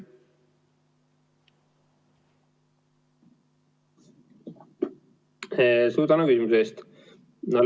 Suur tänu küsimuse eest!